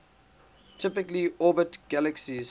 typically orbit galaxies